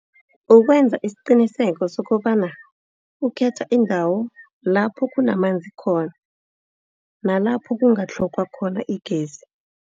Ukwenza isiqiniseko sokobana ukhetha indawo lapho kunamanzi khona, nalapho kungatlhogwa khona igezi.